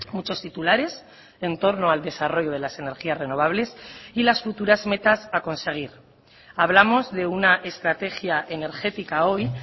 muchos titulares en torno al desarrollo de las energías renovables y las futuras metas a conseguir hablamos de una estrategia energética hoy